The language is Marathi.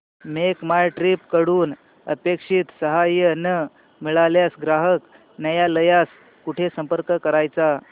मेक माय ट्रीप कडून अपेक्षित सहाय्य न मिळाल्यास ग्राहक न्यायालयास कुठे संपर्क करायचा